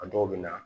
A dɔw bɛ na